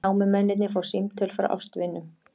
Námumennirnir fá símtöl frá ástvinum